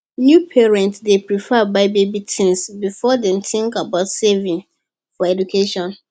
new parents dey prefer buy baby things before dem think about saving for education